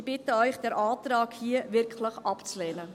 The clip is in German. Ich bitte Sie, diesen Antrag wirklich abzulehnen.